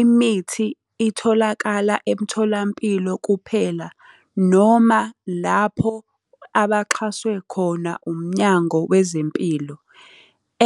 imithi itholakala emtholampilo kuphela noma lapho abaxhaswe khona umnyango wezempilo.